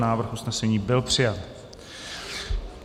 Návrh usnesení byl přijat.